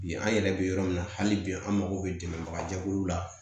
Bi an yɛrɛ bɛ yɔrɔ min na hali bi an mako bɛ dɛmɛbaga jɛkuluw la